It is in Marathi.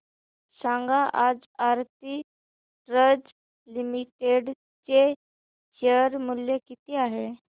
सांगा आज आरती ड्रग्ज लिमिटेड चे शेअर मूल्य किती आहे